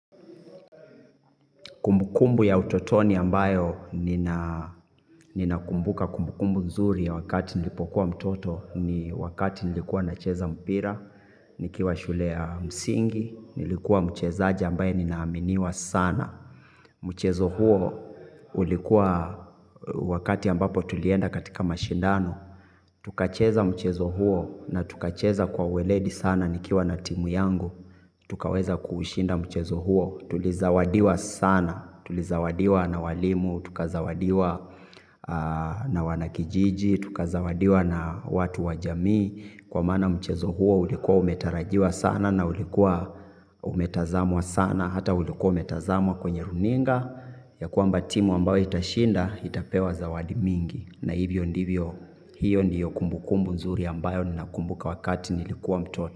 Kumbukumbu ya utotoni ambayo ninakumbuka kumbukumbu nzuri ya wakati nilipokuwa mtoto ni wakati nilikuwa nacheza mpira, nikiwa shule ya msingi, nilikuwa mchezaji ambaye ninaaminiwa sana. Mchezo huo ulikuwa wakati ambapo tulienda katika mashindano. Tukacheza mchezo huo na tukacheza kwa ueledi sana nikiwa na timu yangu. Tukaweza kuushinda mchezo huo tulizawadiwa sana tulizawadiwa na walimu tukazawadiwa na wanakijiji tukazawadiwa na watu wa jamii kwa maana mchezo huo ulikuwa umetarajiwa sana na ulikuwa umetazamwa sana hata ulikuwa umetazamwa kwenye runinga ya kwamba timu ambayo itashinda itapewa zawadi mingi na hivyo ndivyo hiyo ndiyo kumbukumbu nzuri ambayo ninakumbuka wakati nilikuwa mtoto.